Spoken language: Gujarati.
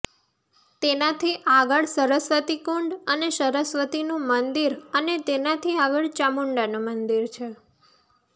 તેનાથી આગળ સરસ્વતીકુંડ અને સરસ્વતીનું મંદિર અને તેનાથી આગળ ચામુંડાનું મંદિર છે